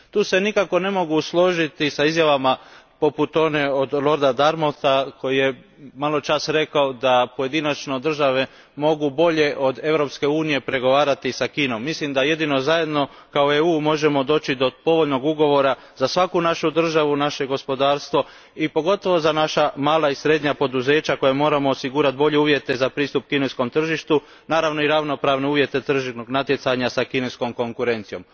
Tu se nikako ne mogu složiti s izjavama poput one Lorda Darmoutha koji je maločas rekao da pojedinačno države mogu bolje od Europske unije pregovarati s Kinom. Mislim da jedino zajedno, kao EU, možemo doći do povoljnog ugovora za svaku našu državu, naše gospodarstvo i pogotovo za naša mala i srednja poduzeća za koja moramo osigurati bolje uvjete za pristup kineskom tržištu, naravno i ravnopravne uvjete tržišnog natjecanja s kineskom konkurencijom.